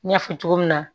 N y'a fɔ cogo min na